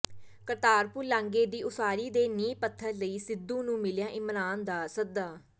ਕਰਤਾਪੁਰ ਲਾਂਘੇ ਦੀ ਉਸਾਰੀ ਦੇ ਨੀਂਹ ਪੱਥਰ ਲਈ ਸਿੱਧੂ ਨੂੰ ਮਿਲਿਆ ਇਮਰਾਨ ਦਾ ਸੱਦਾ